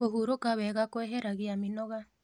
Kũhũrũka wega kweheragĩa mĩĩnoga